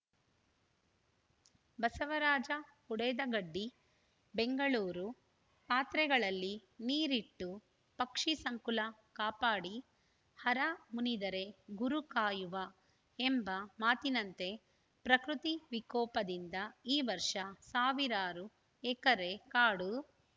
ಬಸವರಾಜ ಹುಡೇದಗಡ್ಡಿ ಬೆಂಗಳೂರು ಪಾತ್ರೆಗಳಲ್ಲಿ ನೀರಿಟ್ಟು ಪಕ್ಷಿ ಸಂಕುಲ ಕಾಪಾಡಿ ಹರ ಮುನಿದರೆ ಗುರು ಕಾಯುವ ಎಂಬ ಮಾತಿನಂತೆ ಪ್ರಕತಿ ವಿಕೋಪದಿಂದ ಈ ವರ್ಷ ಸಾವಿರಾರು ಎಕರೆ ಕಾಡು